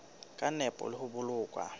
ka nepo le ho boloka